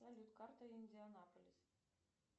салют карта индианаполис